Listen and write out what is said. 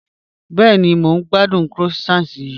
Bẹẹni, mọ̀ n gbàdùn croissant yìí